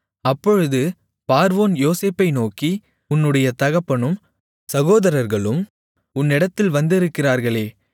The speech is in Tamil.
அப்பொழுது பார்வோன் யோசேப்பை நோக்கி உன்னுடைய தகப்பனும் சகோதரர்களும் உன்னிடத்தில் வந்திருக்கிறார்களே